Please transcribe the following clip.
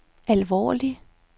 alvorlig